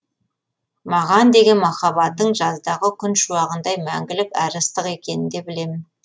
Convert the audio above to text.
маған деген махаббатың жаздағы күн шуағындай мәңгілік әрі ыстық екенін де білемін